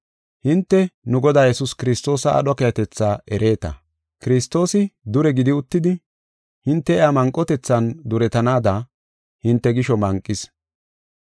Hinte, nu Godaa Yesuus Kiristoosa aadho keehatetha ereeta. Kiristoosi dure gidi uttidi, hinte iya manqotethan duretanaada hinte gisho manqis.